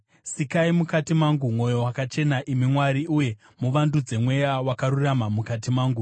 Sikai mukati mangu mwoyo wakachena, imi Mwari, uye muvandudze mweya wakarurama mukati mangu.